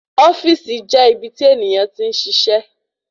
Ofíìsì jẹ́ ibi tí ènìyàn tí ń ṣiṣẹ́